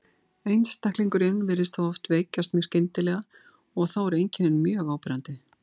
Einstaklingurinn virðist þá oft veikjast mjög skyndilega og eru þá einkennin mjög áberandi.